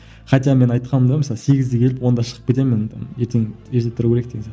хотя мен айтқанмын да мысалы сегізде келіп онда шығып кетемін там ертең ерте тұру керек деген